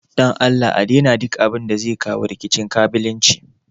don Allah a daina duk wani abu da zai kawo rikicin ƙabilanci.